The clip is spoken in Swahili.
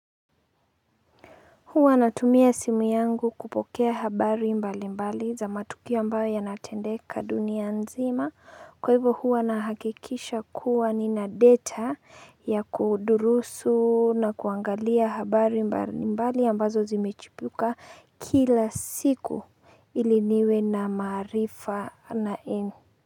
Huwa natumia simu yangu kupokea habari mbalimbali za matukio ambayo yanatendeka dunia nzima. Kwa hivyo huwa nahakikisha kuwa ni na data ya kudurusu na kuangalia habari mbalimbali ambazo zimechipuka kila siku ili niwe na marifa na en.